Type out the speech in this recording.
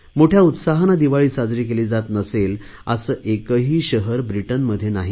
मोठया उत्साहाने दिवाळी साजरी केली जात नसेल असे एकही शहर ब्रिटनमध्ये नाही